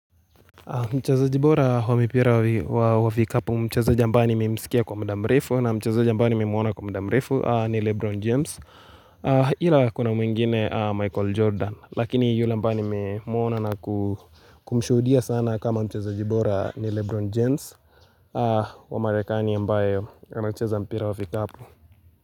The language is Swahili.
Mchezaji bora wa mpira wa vikapu mchezaji ambaye nimemsikia kwa mda mrefu na mchezaji ambaye nimemwona kwa mda mrefu ni Lebron James ila kuna mwingine Michael Jordan lakini yule nimemwona naku kumshudia sana kama mchezaji bora ni Lebron James wa marakani ambae ancheza mpira wa vikapu.